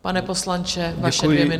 Pane poslanče, vaše dvě minuty.